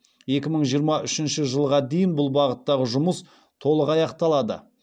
екі мың жиырма үшінші жылға дейін бұл бағыттағы жұмыс толық аяқталады